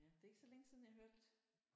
Ja det er ikke så længe siden jeg hørte